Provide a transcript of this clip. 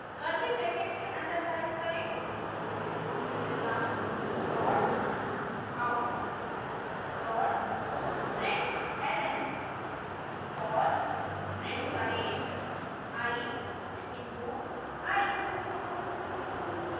curly brackets के अन्दर type करें system dot out dot println और print करें i into i